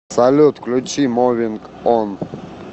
салют включи мовинг он